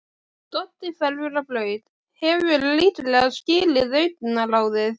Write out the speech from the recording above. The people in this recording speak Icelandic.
Doddi hverfur á braut, hefur líklega skilið augnaráðið.